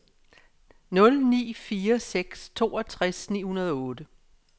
nul ni fire seks toogtres ni hundrede og otte